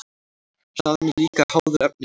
Hraðinn er líka háður efnisgerðinni.